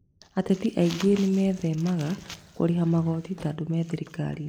Ateti angĩ nĩmethemaga kũrĩha magoti tondũ me thirikarinĩ